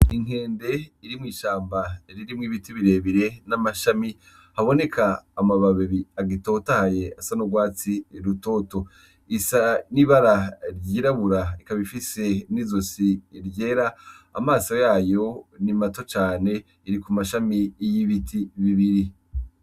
Inkende irimwishamba ririmwo ibiti birebire n'amashami, haboneka amababi agitotahaye asa n'urwatsi rutoto, isa n'ibara ry'irabura n'izosi ryera amaso yayo nimato cane iri kumashami y'ibiti bibiri.